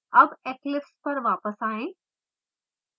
अब eclipse पर वापस आएँ